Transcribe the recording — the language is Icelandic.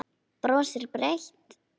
Brosir breitt.